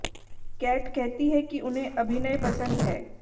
cat कहती हैं कि उन्हें अभिनय पसंद है